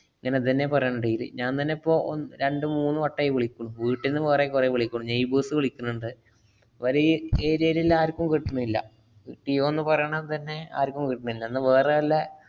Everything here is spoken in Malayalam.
ഞാനത് ന്നെയാ പറയണേ daily. ഞാന്‍ തന്നെ ഇപ്പൊ ഒ~ രണ്ടു മൂന്നു വട്ടായി വിളിക്കണു. വീട്ടിന്നു വേറെ കൊറേ വിളിക്കണു. neighbours വിളിക്കണുണ്ട്. അവര് ഈ area ലുല്ല ആര്‍ക്കും കിട്ടണില്ല. ജിയോന്ന് പറേണത് തന്നെ ആര്‍ക്കും കിട്ടണില്ല. എന്നാ വേറെ എല്ലാ